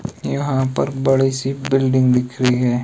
यहां पर बड़ी सी बिल्डिंग दिख रही है।